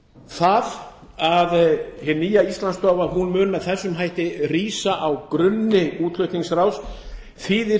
það að hin nýja íslandsstofa mun með þessum hætti rísa á grunni útflutningsráðs þýðir